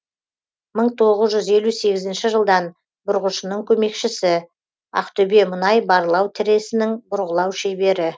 мың тоғыз жүз елу сегізнші жылдан бұрғышының көмекшісі ақтөбемұнай барлау тресінің бұрғылау шебері